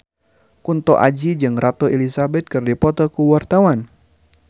Kunto Aji jeung Ratu Elizabeth keur dipoto ku wartawan